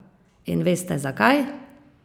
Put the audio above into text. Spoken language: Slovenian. In veste zakaj?